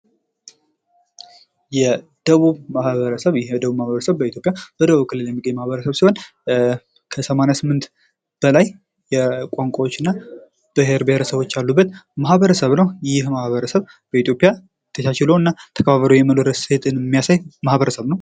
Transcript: የደቡብ ማህበረሰብ ይህ የደቡብ ማህበረሰብ በኢትዮጵያ በደቡብ ክልል የሚገኝ ማህበረሰብ ሲሆን ከሰማንያ ስምንት በላይ ቋንቋዎችና ብሄር ብሄረሰቦች ያሉበት ማህበረሰብ ነው። ይህ ማህበረሰብ በኢትዮጵያ ተቻችሎ እና ተከባብሮ የመኖር እሴትን የሚያሳይ ማህበረሰብ ነው።